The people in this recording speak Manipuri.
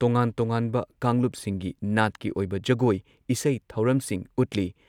ꯇꯣꯉꯥꯟ-ꯇꯣꯉꯥꯟꯕ ꯀꯥꯡꯂꯨꯞꯁꯤꯡꯒꯤ ꯅꯥꯠꯀꯤ ꯑꯣꯏꯕ ꯖꯒꯣꯏ ꯏꯁꯩ ꯊꯧꯔꯝꯁꯤꯡ ꯎꯠꯂꯤ